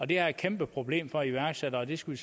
det er et kæmpe problem for iværksættere og det skal